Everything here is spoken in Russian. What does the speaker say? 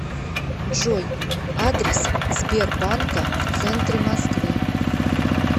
джой адрес сбербанка в центре москвы